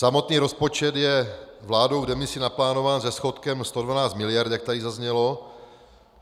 Samotný rozpočet je vládou v demisi naplánován se schodkem 112 miliard, jak tady zaznělo.